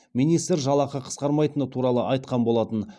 министр жалақы қысқармайтыны туралы айтқан болатын